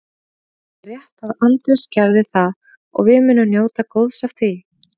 Það er rétt að Andrés gerði það og við munum njóta góðs af því.